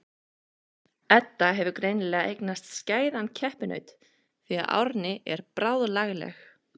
Edda hefur greinilega eignast skæðan keppinaut því að Árný er bráðlagleg.